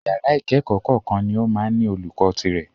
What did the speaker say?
Ìyàrá ìkẹ́kọ̀ọ́ kọ̀ọ̀kan ní o máa ń ní olùkó tirẹ̀.